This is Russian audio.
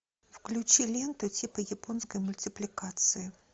включи ленту типа японской мультипликации